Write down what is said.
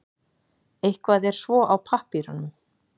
Eitthvað er svo á pappírunum